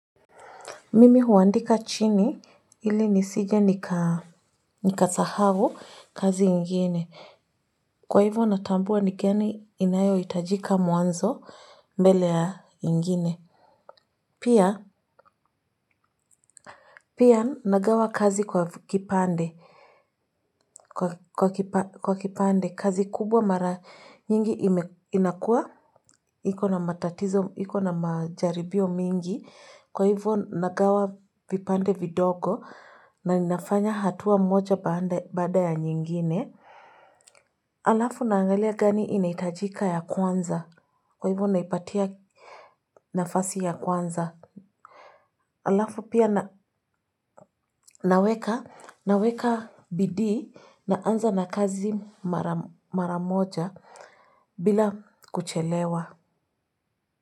Mimi huandika chini ili nisije nikasahau kazi ingine. Kwa hivyo natambua ni gani inayohitajika mwanzo mbele ya ingine. Pia nagawa kazi kwa kipande kwa kipande kazi kubwa mara nyingi inakuwa. Iko na matatizo, iko na majaribio mingi, kwa hivyo nagawa vipande vidogo na ninafanya hatua moja baada ya nyingine. Alafu naangalia gani inahitajika ya kwanza, kwa hivyo ninaipatia nafasi ya kwanza. Alafu pia naweka bidii naanza na kazi mara moja bila kuchelewa.